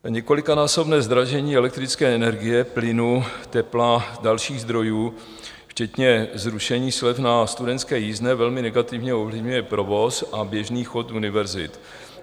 Několikanásobné zdražení elektrické energie, plynu, tepla, dalších zdrojů včetně zrušení slev na studentské jízdné velmi negativně ovlivňuje provoz a běžný chod univerzit.